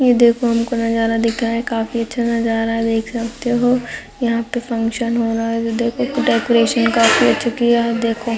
ये देखो हमको नजारा दिख रहा है काफी अच्छा नजारा देख सकते हो यहाँ पे फंक्शन हो रहा जो देखो डेकोरेशन काफी अच्छा किया है देखो--